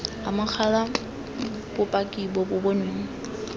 amogela bopaki bo bo bonweng